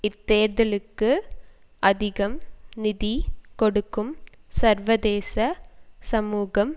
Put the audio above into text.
இத்தேர்தலுக்கு அதிகம் நிதி கொடுக்கும் சர்வதேச சமூகம்